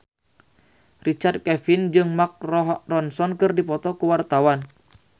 Richard Kevin jeung Mark Ronson keur dipoto ku wartawan